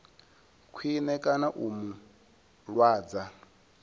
khwine kana u mu lwadza